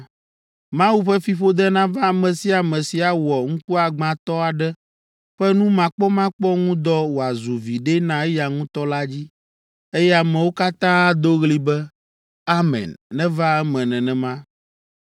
“Mawu ƒe fiƒode nava ame sia ame si awɔ ŋkuagbãtɔ aɖe ƒe numakpɔmakpɔ ŋu dɔ wòazu viɖe na eya ŋutɔ la dzi.” Eye ameawo katã ado ɣli be, “Amen; neva eme nenema!”